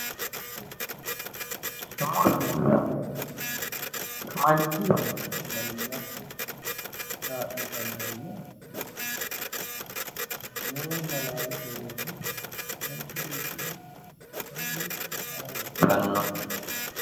muronna laalo manchi beettira sagalimmate kaa'litannori no?muronna laalote woyite manchi beettira horo hiitti uyitanno?